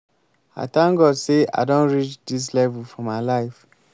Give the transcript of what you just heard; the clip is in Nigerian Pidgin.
i thank god say i don reach dis level for my life